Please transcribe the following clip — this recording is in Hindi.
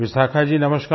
विशाखा जी नमस्कार